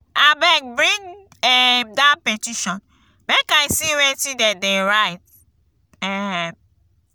abeg bring um dat petition make i see wetin de dey write. um